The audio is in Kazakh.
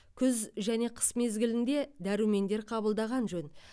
күз және қыс мезгілінде дәрумендер қабылдаған жөн